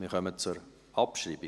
Wir kommen zur Abschreibung.